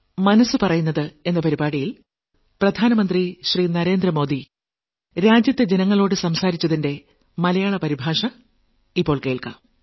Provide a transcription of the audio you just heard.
മനസ്സ് പറയുന്നത് നാൽപത്തിയെട്ടാം ലക്കം